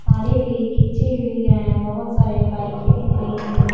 तारे भी खींची हुई है बहुत सारे बाइके दिख रही हैं।